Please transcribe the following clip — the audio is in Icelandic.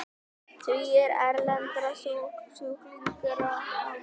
Tugir erlendra sjúklinga á mánuði